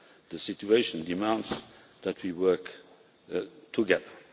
The situation demands that we work together.